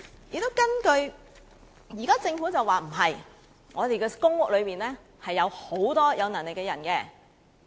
現在政府表示，情況不是這樣的，公屋住戶中有許多有能力的人。